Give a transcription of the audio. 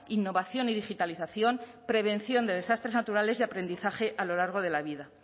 innovación y digitalización prevención de desastres naturales y aprendizaje a lo largo de la vida